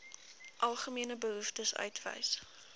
algemene behoeftes uitwys